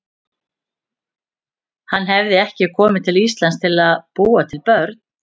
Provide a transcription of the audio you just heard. Hann hafði ekki komið til Íslands til að búa til börn.